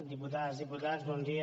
diputades diputats bon dia